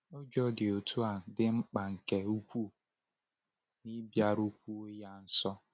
Ụjọ dị otu a dị mkpa nke ukwuu n’ịbịarukwuo ya nso.